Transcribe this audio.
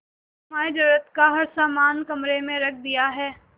तुम्हारे जरूरत का हर समान कमरे में रख दिया है